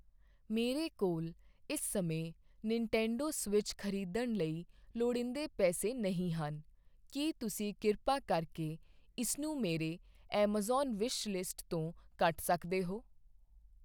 ਮੇਰੇ ਕੋਲ ਇਸ ਸਮੇਂ ਨਿਨਟੈਂਡੋ ਸਵਿੱਚ ਖ਼ਰੀਦਣ ਲਈ ਲੋੜੀਂਦੇ ਪੈਸੇ ਨਹੀਂ ਹਨ ਕੀ ਤੁਸੀਂ ਕਿਰਪਾ ਕਰਕੇ ਇਸਨੂੰ ਮੇਰੀ ਐੱਮਾਜ਼ਾਨ ਵਿਸ਼ਲਿਸਟ ਤੋਂ ਕੱਟ ਸਕਦੇ ਹੋ